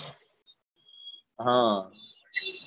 હમ